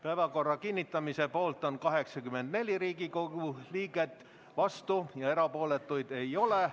Päevakorra kinnitamise poolt on 84 Riigikogu liiget, vastuolijaid ega erapooletuid ei ole.